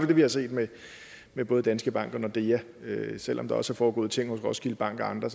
det vi har set med både danske bank og nordea selv om der også er foregået ting hos roskilde bank og andre